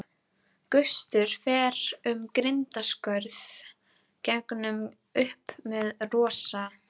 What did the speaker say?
Á milli stúkunnar og réttarsalarins eru glerskilrúm.